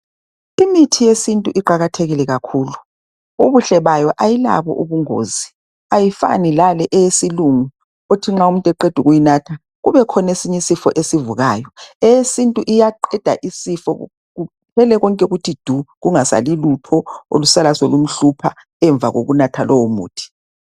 Imithi yesintu iqalathekile kakhulu ,ubuhle bayo ayilabo ubungozi ayifani lale eyesilungu othi nxa umuntu eqedu kuyinatha kube khona esinye isifo esivukayo. Eyesintu iyaqeda isifo kuphele konke kuthi du kungasali lutho olusala solumhlupha emva kokunatha lowo muthi .